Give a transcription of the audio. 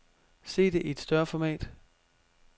Se det i et større format.